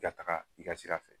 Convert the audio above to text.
I ka taga i ka sira fɛ